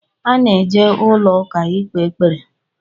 A na-eje ụlọ ụka ikpe ekpere